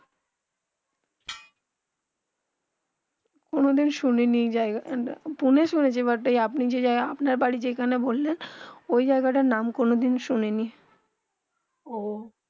কোনো ডিমন শুনেনি এই জায়গা পুনে শুনেছি বাট এই আপনি যে নাম আপনার বাড়ি যেখানে বল্লেন ওই জায়গা তা নাম কোনো দিন শুনেনি ওহঃ